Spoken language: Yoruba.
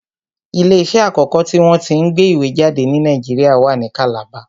Ilé iṣẹ́ àkọ́kọ́ tí wọ́n tí ń gbé ìwé jáde ni Nàìjíríà wa ní kàlàba